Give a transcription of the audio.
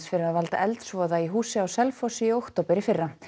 fyrir að valda eldsvoða í húsi á Selfossi í október í fyrra